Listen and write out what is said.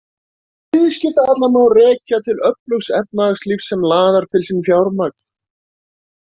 Viðskiptahallann má þá rekja til öflugs efnahagslífs sem laðar til sín fjármagn.